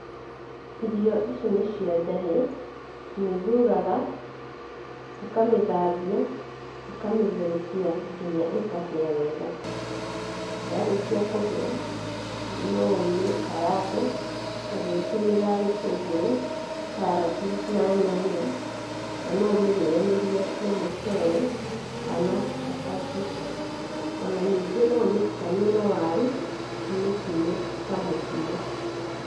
Irio ici nĩ cia njahĩ, ũmĩthuraga, ũkamĩthambia, ũkamĩtherũkia, nginya ĩkahia wega. Yarĩkia kũhĩa, no ũmĩkarange ũgĩtũmĩra gĩtũngũru, karati na nyanya, na no ũmĩrĩanĩrie na mũcere kana cabaci. Ona nĩngĩ no ũmĩtukanie na waru, ũmĩkime ta mũkimo.